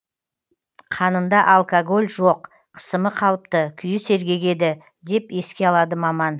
қанында алкоголь жоқ қысымы қалыпты күйі сергек еді деп еске алады маман